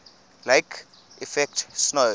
lake effect snow